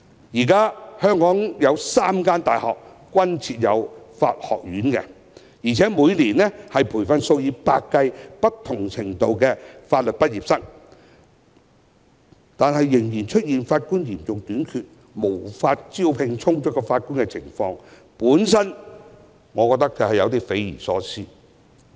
現時香港有3間大學設有法學院，每年培訓數以百計不同程度的法律畢業生，但仍然出現法官嚴重短缺，無法招聘足夠法官的情況，我覺得有點匪夷所思。